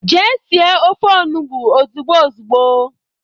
Jee sie ofe onugbo ozugbo ozugbo!